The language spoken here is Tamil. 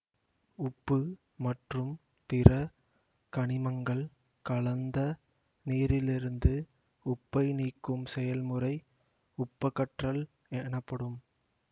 உப்பு மற்றும் பிற கனிமங்கள் கலந்த நீரிலிருந்து உப்பை நீக்கும் செயல்முறை உப்பகற்றல் எனப்படும்